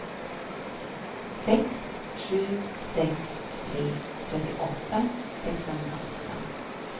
sex sju sex tre trettioåtta sexhundraåtta